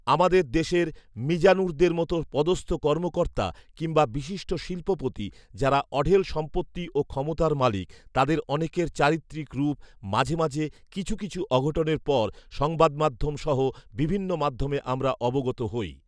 আমাদের দেশের মিজানুরদের মত পদস্ত কর্মকর্তা কিংবা বিশিষ্ট শিল্পপতি যারা অঢেল সম্পত্তি ও ক্ষমতার মালিক তাদের অনেকের চারিত্রিক রুপ মাঝে মাঝে কিছু কিছু অঘটনের পর সংবাদমাধ্যম সহ বিভিন্ন মাধ্যমে আমরা অবগত হই